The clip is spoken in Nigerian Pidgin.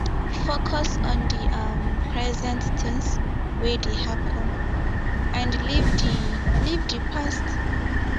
focus on di um present things wey dey happen and leave di leave di past